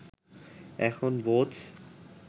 এখন বোঝ্